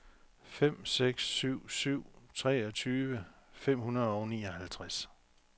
fem seks syv syv treogtyve fem hundrede og nioghalvtreds